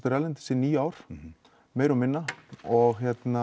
erlendis í níu ár meira og minna og